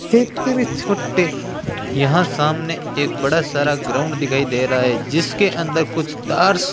छोटे यहां सामने एक बड़ा सारा ग्राउंड दिखाई दे रहा है जिसके अंदर कुछ तार्स --